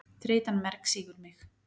Þreytan mergsýgur mig.